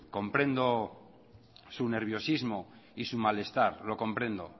comprendo su nerviosismo y su malestar lo comprendo